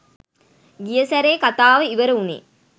ගිය සැරේ කතාව ඉවර වුනේ